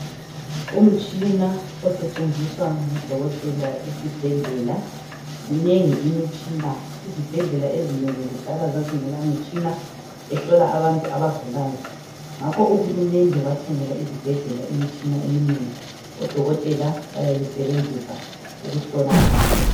Umtshina osetshenziswa ngudokotela esibhedlela. Minengi imitshina. Izibhedlela ezinengi kudala zazingela imitshina ehlola abantu abagulayo ngakho ukuhulumende wathengela izibhedlela imitshina eminengi. Odokotela bayayisebenzisa ukuhlola abantu.